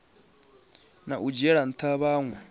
na u dzhiela ntha vhanwe